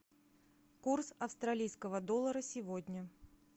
курс австралийского доллара сегодня